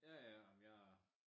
Ja ja ej men jeg